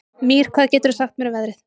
Mír, hvað geturðu sagt mér um veðrið?